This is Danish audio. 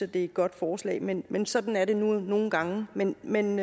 det er et godt forslag men men sådan er det nu nogle gange men men